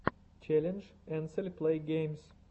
челлендж энсель плэйгеймс